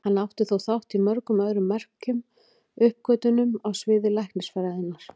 Hann átti þó þátt í mörgum öðrum merkum uppgötvunum á sviði læknisfræðinnar.